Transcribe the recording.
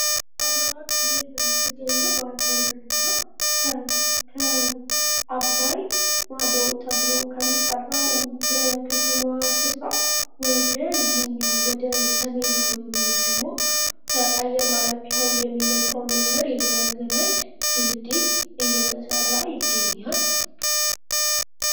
በአማራ ክልል በምትገኘው ባህር ዳር ከተማ ከ አባይ ማዶ ተብሎ ከሚጠራው የከተማ ስፍራ ወደ እዚህኛው ወደ ሰሜናዊ ወይም ደግሞ ወደ አየር ማረፊያው የሚመጣው መስመር የሚያገናኝ ድልዲ እየተሰራ ይገኛል።